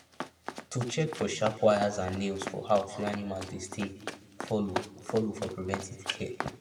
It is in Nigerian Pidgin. to check for sharp wires and nails for house wey animals dey stay follow follow for preventive care